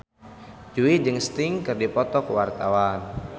Jui jeung Sting keur dipoto ku wartawan